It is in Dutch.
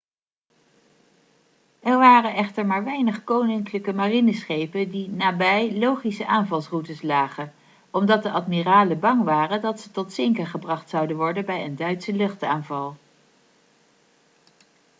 er waren echter maar weinig koninklijke marineschepen die nabij logische aanvalsroutes lagen omdat de admiralen bang waren dat ze tot zinken gebracht zouden worden bij een duitse luchtaanval